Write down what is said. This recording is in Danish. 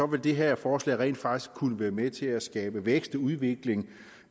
det her forslag rent faktisk kunne være med til at skabe vækst og udvikling